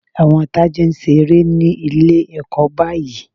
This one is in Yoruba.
Àwọn Tádé ń ṣe eré ní Ilé-ẹ̀kọ́ báyìí